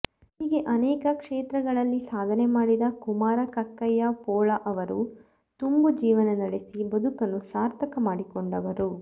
ಹೀಗೆ ಅನೇಕ ಕ್ಷೇತ್ರಗಳಲ್ಲಿ ಸಾಧನೆ ಮಾಡಿದ ಕುಮಾರ ಕಕ್ಕಯ್ಯ ಪೋಳ ಅವರು ತುಂಬು ಜೀವನ ನಡೆಸಿ ಬದುಕನ್ನು ಸಾರ್ಥಕ ಮಾಡಿಕೊಂಡವರು